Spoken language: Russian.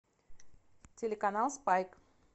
телеканал спайк